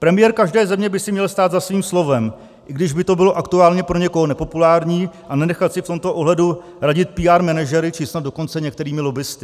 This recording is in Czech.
Premiér každé země by si měl stát za svým slovem, i když by to bylo aktuálně pro někoho nepopulární, a nenechat si v tomto ohledu radit PR manažery, či snad dokonce některými lobbisty.